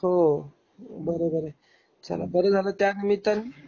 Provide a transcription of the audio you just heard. हो. बरोबर आहे. बरं झाल त्या निम्मिताने